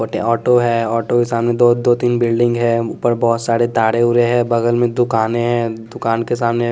auto है auto के सामने दो दो तीन बिल्डिंग है ऊपर बहुत सारे ताड़े उरे हैं बगल में दुकानें हैं दुकान के सामने--